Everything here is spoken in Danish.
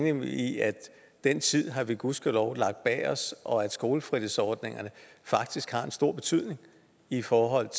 enig i at den tid har vi gudskelov lagt bag os og at skolefritidsordningerne faktisk har en stor betydning i forhold